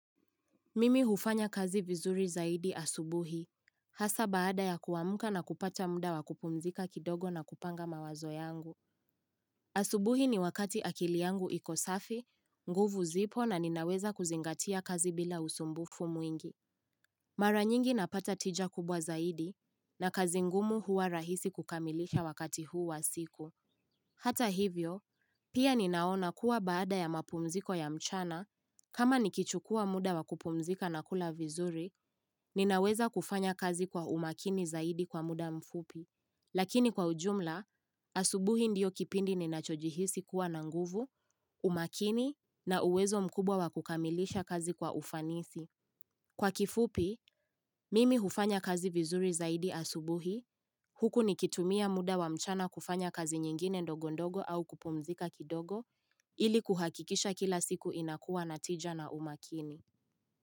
Mimi hufanya kazi vizuri zaidi asubuhi, hasa baada ya kuamuka na kupata muda wa kupumzika kidogo na kupanga mawazo yangu. Asubuhi ni wakati akili yangu iko safi, nguvu zipo na ninaweza kuzingatia kazi bila usumbufu mwingi. Mara nyingi napata tija kubwa zaidi na kazi ngumu huwa rahisi kukamilisha wakati huu wa siku. Hata hivyo, pia ninaona kuwa baada ya mapumziko ya mchana, kama nikichukua muda wakupumzika na kula vizuri, ninaweza kufanya kazi kwa umakini zaidi kwa muda mfupi. Lakini kwa ujumla, asubuhi ndiyo kipindi ninachojihisi kuwa na nguvu, umakini na uwezo mkubwa wakukamilisha kazi kwa ufanisi. Kwa kifupi, mimi hufanya kazi vizuri zaidi asubuhi, huku nikitumia muda wa mchana kufanya kazi nyingine ndogo ndogo au kupumzika kidogo, ili kuhakikisha kila siku inakua na tija na umakini.